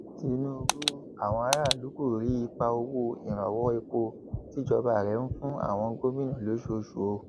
tinúbú àwọn aráàlú kò rí ipa owó ìrànwọ epo tíjọba rẹ ń fún àwọn gómìnà lóṣooṣù o